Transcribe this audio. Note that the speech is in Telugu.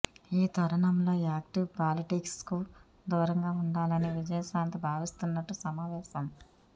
ఈ తరుణంలో యాక్టివ్ పాలిటిక్స్ కు దూరంగా ఉండాలని విజయశాంతి భావిస్తున్నట్టు సమావేశం